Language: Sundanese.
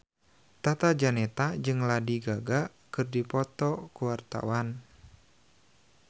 Tata Janeta jeung Lady Gaga keur dipoto ku wartawan